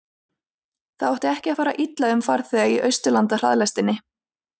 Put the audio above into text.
það átti ekki að fara illa um farþega í austurlandahraðlestinni